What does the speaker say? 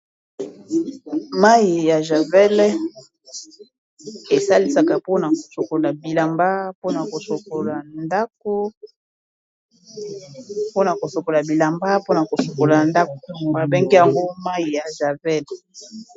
Mayi ya javel esalisaka mpona kosokola bilamba mpona kosukola ndako babengi yango mayi ya javel.